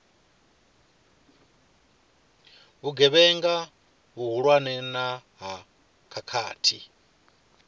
vhugevhenga vhuhulwane na ha khakhathi